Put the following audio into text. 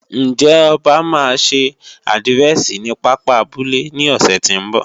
Ǹjẹ́ Ọba máa ṣe àdírẹ̀sì ní pápá abúlé ní ọ̀sẹ̀ tí ń bọ̀?